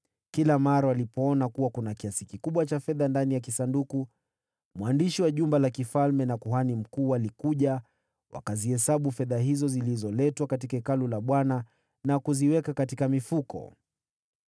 Kila mara walipoona kuwa kuna kiasi kikubwa cha fedha ndani ya kisanduku, mwandishi wa mfalme na kuhani mkuu walikuja, wakazihesabu fedha hizo zilizoletwa katika Hekalu la Bwana , na kuziweka katika mifuko.